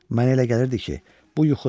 Mənə elə gəlirdi ki, bu yuxudur.